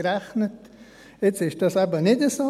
Nun ist das eben nicht so.